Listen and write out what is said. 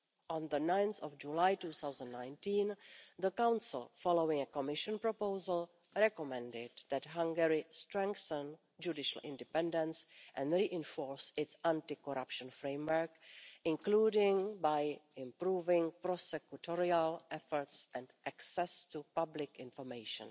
On 9 July 2019, the Council, following a Commission proposal, recommended that Hungary strengthen judicial independence and reinforce its anti-corruption framework, including by improving prosecutorial efforts and access to public information.